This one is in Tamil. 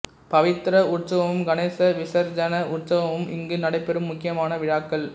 பவித்ர உற்சவமும் கணேஷ விசர்ஜன உற்சவமும் இங்கு நடைபெறும் முக்கியமான விழாக்கள்